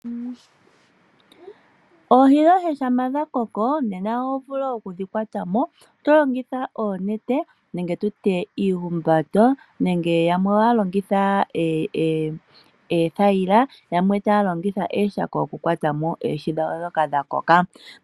Oohi dhoye shampa dha koko, oho vulu okudhi kwata mo to longitha oonete nenge oombando nenge yamwe ohaya longitha oothayila, yo yamwe taya longitha ooshako okukwata mo oohi ndhoka dha koka.